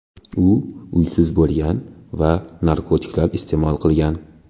U uysiz bo‘lgan va narkotiklar iste’mol qilgan.